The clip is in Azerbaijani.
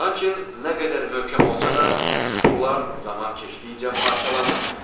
Lakin nə qədər möhkəm olsa da, suxurlar zaman keçdikcə parçalanır.